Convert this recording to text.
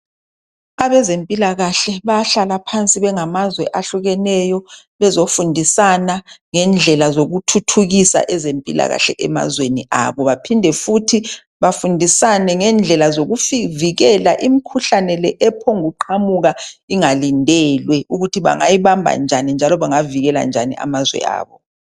Abezempilakahle bayahlala phansi bengamazwe ahlukeneyo bezofundisana ngendlela zokuthuthukisa ezempilakahle emazweni abo. Baphinde futhi bafundisane ngendlela zokusivikela imikhuhlane le ephongu qhamuka ingalindelwe ukuthi bangayibamba njani njalo bangavikela njani amazwe abo.